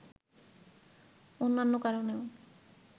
অন্যান্য কারণেও